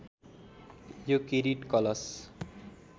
यो किरीट कलश